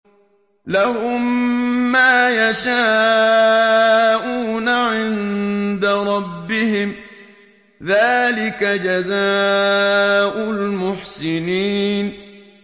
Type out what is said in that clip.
لَهُم مَّا يَشَاءُونَ عِندَ رَبِّهِمْ ۚ ذَٰلِكَ جَزَاءُ الْمُحْسِنِينَ